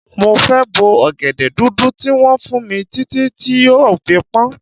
Mo fẹ́ bo ọ̀gẹ̀dẹ̀ dúdú tí wọ́n fún mi títí tí yóò fi pọ́n.